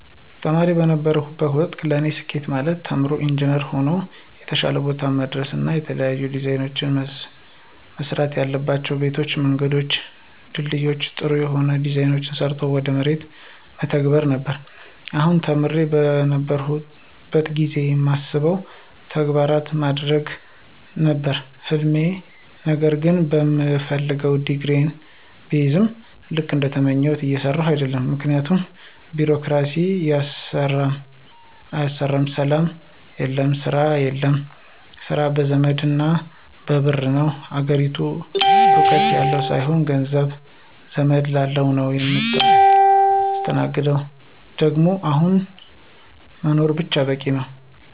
ተማሪ በነበርሁበት ወቅት ለኔ ስኬት ማለት ተምሮ ኢንጅነር ሆኖ የተሻለ ቦታ መድረስና የተለያዩ ዲዛይኖችን መስራትያላቸው ቤቶችን፣ መንገዶችን፣ ድልድዮችን በጥሩ ሁኔታ ዲዛይን ሰርቶ ወደ መሬት መተግበር ነበር፣ አሁንም ተማሪ በነበርሁበት ጊዜ ማስበውን ተግባራዊ ማድረግ ነበር ህልሜ ነገር ግን በምፈልገው ዲግሪየን ብይዝም ልክ እንደተመኘሁት እየሰራሁ አደለም ምክንያቱም ቢሮክራሲው አያሰራም፣ ሰላም የለም፣ ስራ የለም፣ ስራ በዘመድና በብር ነው፣ አገሪቱ እውቀት ያለው ሳይሆን ገንዘብ፣ ዘመድ ላለው ነው ምታስተናግደው ደግሞ አሁን መኖር ብቻ በቂ ነው።